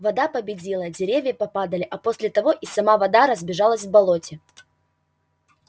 вода победила деревья попадали а после того и сама вода разбежалась в болоте